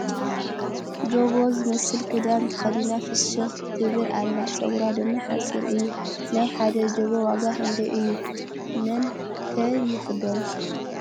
ጃባ ዝመስል ክዳን ተከዲና ፍሽክ ትብል ኣላ ፀጉራ ድማ ሓፂር እዩ ። ናይ ሓደ ጃባ ዋጋ ክንደይ እዩ ምን ከ ይክደኖ ?